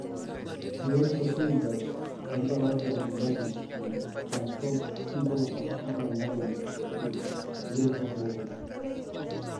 Etolimuo sii ajo ore ai siai enye naa keya intokitin inkwapi naaalakwa nenap sii iltungana,